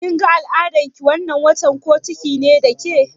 Kin ga al'adan ki wannan watan, ko ciki ne da ke?